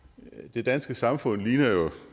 det danske samfund ligner jo